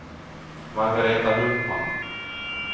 Margaretha Hultman